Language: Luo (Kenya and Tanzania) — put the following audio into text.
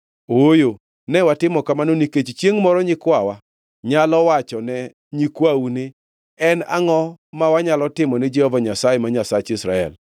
“Ooyo! Ne watimo kamano nikech chiengʼ moro nyikwawa nyalo wachone nyikwau ni, ‘En angʼo ma wanyalo timo gi Jehova Nyasaye, ma Nyasach Israel?